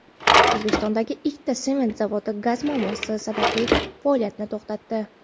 O‘zbekistondagi ikkita sement zavodi gaz muammosi sabab faoliyatini to‘xtatdi.